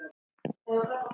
Þetta sló mig.